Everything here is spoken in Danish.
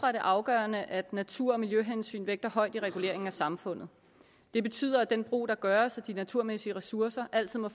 er det afgørende at natur og miljøhensyn vægtes højt i reguleringen af samfundet det betyder at den brug der gøres af de naturmæssige ressourcer altid må